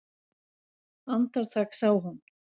Andartak sá hún